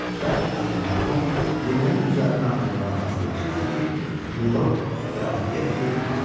Bərk acımış Tom yeməyin üzərinə atılmağa hazırlaşırdı ki, Milord Qrab Berkli mane oldu.